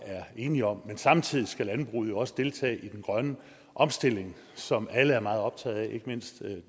er enige om men samtidig skal landbruget jo også deltage i den grønne omstilling som alle er meget optaget af ikke mindst